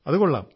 ആഹാ